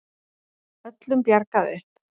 Öllum bjargað upp